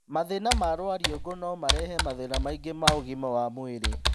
Mathĩĩna ma rwariũngũ no marehe mathĩĩna maingĩ ma ũgima wa mwĩrĩ.